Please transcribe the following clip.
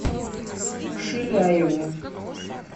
шиляеву